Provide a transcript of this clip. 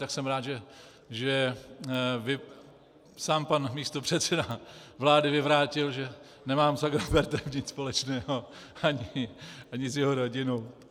Tak jsem rád, že sám pan místopředseda vlády vyvrátil, že nemám s Agrofertem nic společného, ani s jeho rodinou.